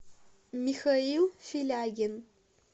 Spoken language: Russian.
михаил филягин